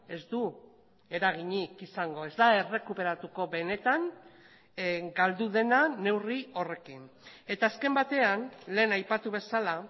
ez du eraginik izango ez da errekuperatuko benetan galdu dena neurri horrekin eta azken batean lehen aipatu bezala